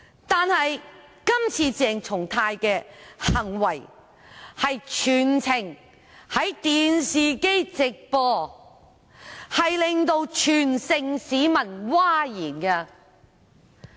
但是，鄭松泰議員今次的行為全程在電視直播，令全城市民譁然。